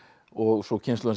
og svo kynslóðin